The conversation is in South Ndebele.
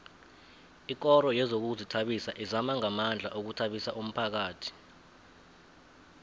ikoro yezokuzithabisa izama ngamandla ukuthabisa umphakhathi